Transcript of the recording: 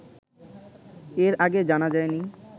এর আগে জানা যায়নি